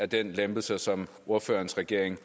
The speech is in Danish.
den lempelse som ordførerens regering